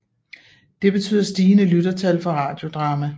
Det betyder stigende lyttertal for Radiodrama